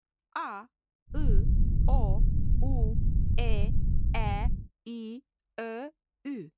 A, ı, o, u, e, ə, i, ö, ü.